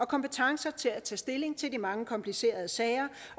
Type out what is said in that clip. kompetencer til at tage stilling til de mange komplicerede sager